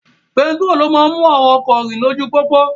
Pẹtiró ni ó máa ń mú àwọn ọkọ rìn lójú pópó